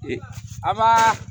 A ma